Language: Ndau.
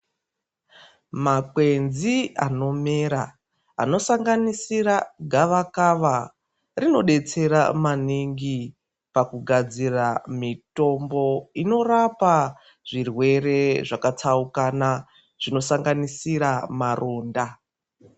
Makwenzi anomera anosanganisira gavakava rinodetsera maningi pakugadzira mitombo inorapa zvirwere zvakatsaukana zvinosanganisira maronda.